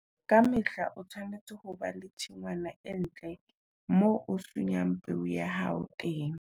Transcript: Ka mehla o tshwanetse ho ba le tshingwana e ntle moo o sunyang peo ya hao teng.